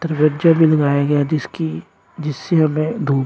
भी लगाया गया है जिसकी जिससे हमें धूप--